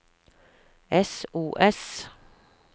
sos